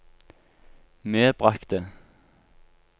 medbragte